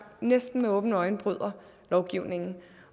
næsten med åbne øjne bryder lovgivningen